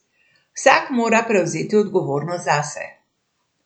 Vsak mora prevzeti odgovornost zase.